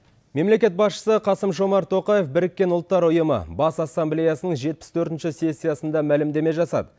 мемлекет басшысы қасым жомарт тоқаев біріккен ұлттар ұйымы бас ассамблеясының жетпіс төртінші сессиясында мәлімдеме жасады